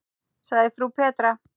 sagði frú Petra.